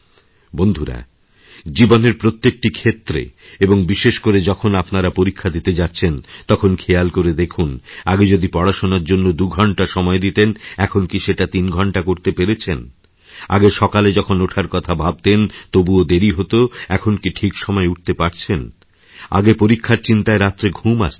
বন্ধুরা জীবনের প্রত্যেকটি ক্ষেত্রে এবং বিশেষ করে যখনআপনারা পরীক্ষা দিতে যাচ্ছেন তখন খেয়াল করে দেখুন আগে যদি পড়াশোনার জন্য দুইঘণ্টা সময় দিতেন এখন কি সেটা তিন ঘণ্টা করতে পেরেছেন আগে সকালে যখন ওঠার কথাভাবতেন তবুও দেরি হত এখন কি ঠিক সময়ে উঠতে পারছেন আগে পরীক্ষার চিন্তায় রাত্রেঘুম আসতো না